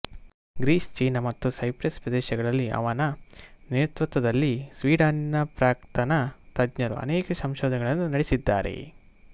Greece ಚೀನ ಮತ್ತು Cyprus ಪ್ರದೇಶಗಳಲ್ಲಿ ಅವನ ನೇತೃತ್ವದಲ್ಲಿ ಸ್ವೀಡನಿನ ಪ್ರಾಕ್ತನ ತಜ್ಞರು ಅನೇಕ ಸಂಶೋಧನೆಗಳನ್ನು ನಡೆಸಿದ್ದಾರೆ